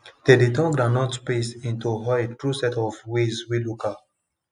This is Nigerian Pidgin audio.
dem dey turn groundnut paste into oil through sets of ways wey local